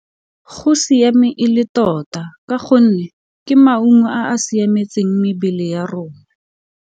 Go siame e le tota ka gonne ke maungo a a siametseng mebele ya rona.